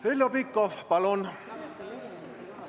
Heljo Pikhof, palun!